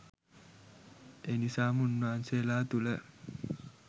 එනිසාම උන්වහන්සේලා තුළ